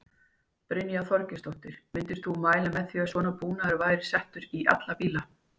Brynja Þorgeirsdóttir: Myndir þú mæla með því að svona búnaður væri settur í alla bíla?